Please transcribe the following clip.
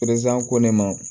ko ne ma